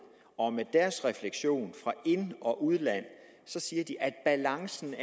og refleksion fra ind og udland siger at balancen